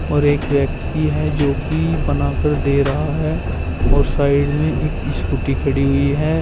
और एक व्यक्ति है जो कि बना कर दे रहा है और साइड में एक स्कूटी खड़ी हुई है।